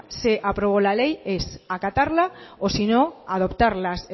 se aprobó la ley sé acatarla o si no adoptar las